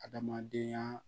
Adamadenya